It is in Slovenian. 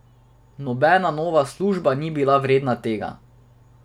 Nobena nova služba ni bila vredna tega.